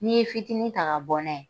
N'i ye fitinin ta ka bɔ n'a ye.